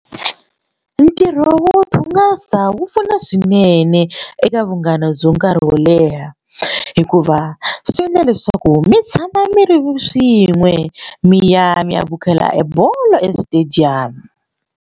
Ntirho wo ti hungasa wu pfuna swinene eka vunghana bya nkarhi wo leha hikuva swi endla leswaku mi tshama mi ri swin'we mi ya mi ya vukheta e bolo eswitediyamu.